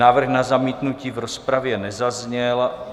Návrh na zamítnutí v rozpravě nezazněl.